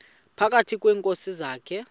phakathi kweenkosi zakhe